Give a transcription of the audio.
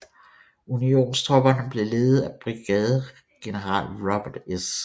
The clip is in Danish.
Unionstropperne blev ledet af brigadegeneral Robert S